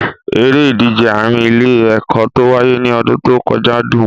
Eré ìdíje àárín ilé-ẹ̀kọ́ tó wáyé ní ọdún tó kọjá dùn.